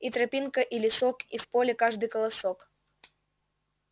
и тропинка и лесок и в поле каждый колосок